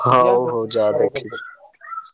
ହଉ ହଉ ଯାଅ ଦେଖି।